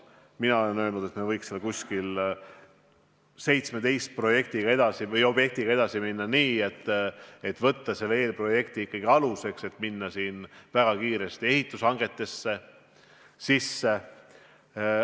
Mina olen öelnud, et võiksime 17 objektiga edasi minna, võtta see eelprojekt ikkagi aluseks, et minna kiiresti ehitushangetega edasi.